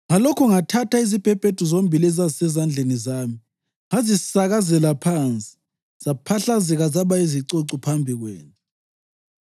Ngalokho ngathatha izibhebhedu zombili ezazisezandleni zami ngazisakazela phansi, zaphahlazeka zaba yizicucu phambi kwenu.